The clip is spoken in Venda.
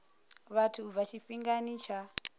vhathu u bva tshifhingani tsha